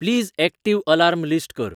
please active alarm list कर